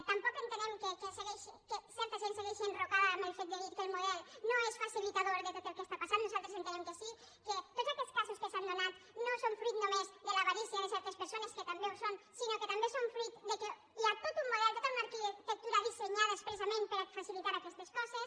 tampoc entenem que certa gent segueixi enrocada en el fet de dir que el model no és facilitador de tot el que està passant nosaltres entenem que sí que tots aquests casos que s’han donat no són fruit només de l’avarícia de certes persones que també ho són sinó que també són fruit que hi ha tot un model tota una arquitectura dissenyada expressament per a facilitar aquestes coses